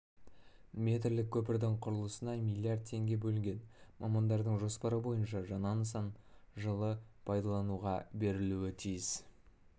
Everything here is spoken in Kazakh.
метрлік көпірдің құрылысына млрд теңге бөлінген мамандардың жоспары бойынша жаңа нысан жылы пайдалануға берілуі тиіс